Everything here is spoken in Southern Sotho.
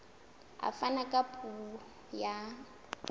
a fana ka puo ya